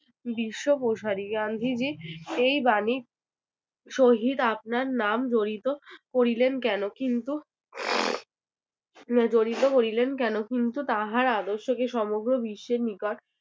বিশ্ব প্রসারী। গান্ধীজী এই বাণীর সহিত আপনার নাম জড়িত করিলেন কেন? কিন্তু আহ জড়িত করিলেন কেন? কিন্তু তাহার আদর্শকে সমগ্র বিশ্বের নিকট